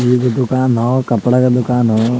एगो दोकान हौ कपड़ा के दोकान हो।